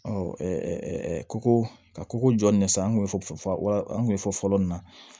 koko ka koko jɔlen sa an kun ye wa an kun bɛ fɔ fɔlɔ nin na